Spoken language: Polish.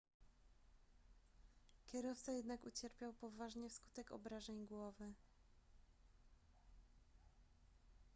kierowca jednak ucierpiał poważnie wskutek obrażeń głowy